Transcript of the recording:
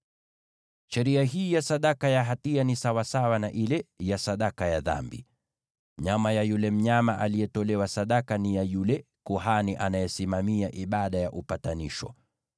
“ ‘Sheria hii ya sadaka ya hatia ni sawasawa na ile ya sadaka ya dhambi: Nyama ya yule mnyama aliyetolewa sadaka ni ya yule kuhani anayesimamia ibada ya upatanisho.